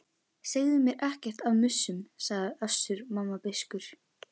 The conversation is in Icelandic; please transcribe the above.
Segðu mér ekkert af mussum, sagði Össur-Mamma beiskur.